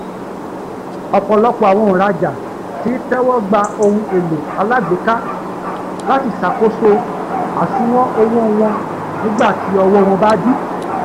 ọ̀pọ̀lọpọ̀ àwọn òǹràjà tí ń tẹ́wọ́gba ohun-èlò alágbéka láti ṣàkóso àsùwọ̀n owó wọn nígbàtí ọwọ́ wọn bá dí